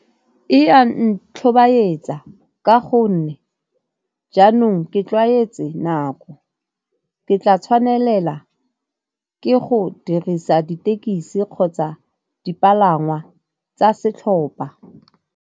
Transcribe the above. E a ntlhobaetsa ka go nne jaanong ke tlwaetse nako, ke tla tshwanela ke go dirisa ditekisi kgotsa dipalangwa tsa setlhopa.